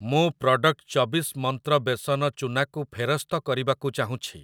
ମୁଁ ପ୍ରଡ଼କ୍ଟ୍ ଚବିଶ ମନ୍ତ୍ର ବେସନ ଚୂନା କୁ ଫେରସ୍ତ କରିବାକୁ ଚାହୁଁଛି ।